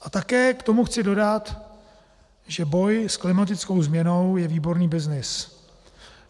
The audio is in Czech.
A také k tomu chci dodat, že boj s klimatickou změnou je výborný byznys.